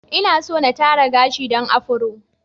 Inaso na tara gashi dan Afro.